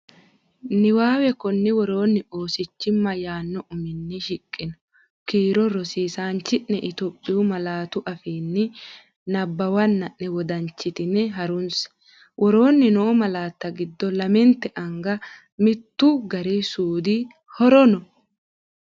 Niwaawe Konni woroonni Oosichimma yaanno uminni shiqqino kiiro rosi isaanchi’ne Itiyophiyu malaatu afiinni nabbawanna’ne wodanchitine harunse, Woroonni noo malaatta giddo lamente anga mittu gari suude horoon?